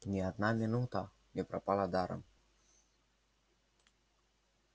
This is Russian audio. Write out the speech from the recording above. ни одна минута не пропала даром